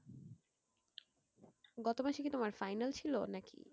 গত মাসে কি তোমার final ছিল নাকি?